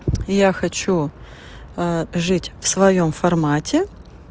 я хочу жить в своём формате